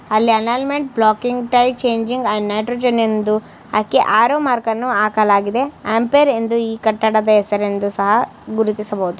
ಅಲ್ಲಿ ಅನಾಲ್ಮೆಂಟ್ blocking type changing nitrogen ಎಂದು ಹಾಕಿ ಆರೋ ಮಾರ್ಕನ್ನು ಹಾಕಲಾಗಿದೆ ಅಂಪಿಯಿರ್ ಎಂದು ಈ ಕಟ್ಟಡದ ಹೆಸರೆಂದು ಸಹ ಗುರುತಿಸಬಹುದು.